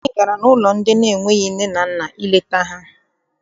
Anyị gara n'ụlọ ndị enweghị nne na nna ileta ha.